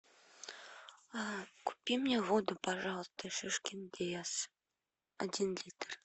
купи мне воду пожалуйста шишкин лес один литр